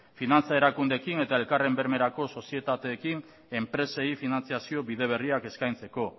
finantza erakundeekin eta elkarren bermerako sozietateekin enpresei finantziazio bide berriak eskaintzeko